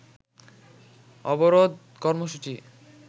অবরোধ কর্মসুচি